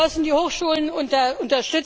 Wir müssen die Hochschulen unterstützen.